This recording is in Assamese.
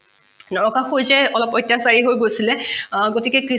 নৰকাসুৰ যে অলপ অত্যাচাৰী হৈ গৈছিলে গতিকে